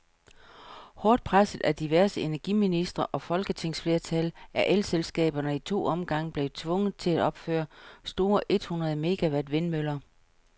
Hårdt presset af diverse energiministre og folketingsflertal, er elselskaberne i to omgange blevet tvunget til at opføre store et hundrede megawatt vindmøller.